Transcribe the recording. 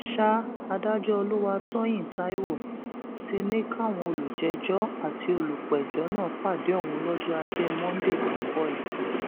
sa adájọ olùwàtòyìn taiwo ti ní káwọn olùjẹjọ àti olùpẹjọ náà pàdé òun lọjọ ajé monde tó ń bọ yìí